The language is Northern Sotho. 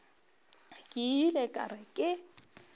ke ile ka re ke